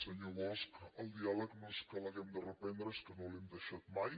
senyor bosch el diàleg no és que l’hàgim de reprendre és que no l’hem deixat mai